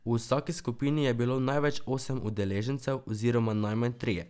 V vsaki skupini je bilo največ osem udeležencev oziroma najmanj trije.